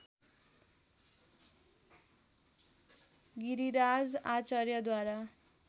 Giriraj आचार्यद्वारा